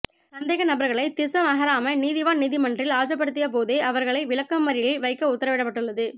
சந்கேநபர்களை திஸ்ஸமஹராம நீதவான் நீதிமன்றில் ஆஜர்படுத்திய போதே அவர்களை விளக்கமறியலில் வைக்க உத்தரவிடப்பட்டுள்ளது